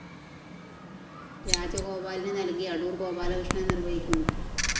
രാജോഗപാലിന് നല്‍കി അടൂര്‍ ഗോപാലകൃഷ്ണന്‍ നിര്‍വ്വഹിക്കുന്നു